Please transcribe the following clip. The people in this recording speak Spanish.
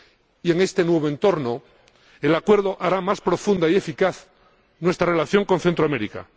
Y, en este nuevo entorno, el Acuerdo hará más profunda y eficaz nuestra relación con Centroamérica.